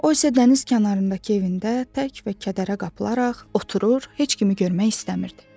O isə dəniz kənarındakı evində tərk və kədərə qapılaraq oturur, heç kimi görmək istəmirdi.